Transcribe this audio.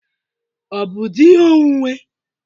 Ọ bụ di ihe onwunwe?